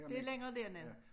Det længere dernede